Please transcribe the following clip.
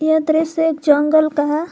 यह दृश्य एक जंगल का है।